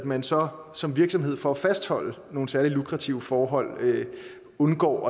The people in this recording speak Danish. at man så som virksomhed for at fastholde nogle særlig lukrative forhold undgår